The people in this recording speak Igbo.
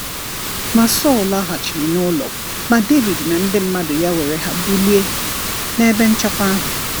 Ma Saul laghachiri n'ụlọ; ma David na ndị mmadụ ya were ha bulie n’ebe nchekwa ahụ.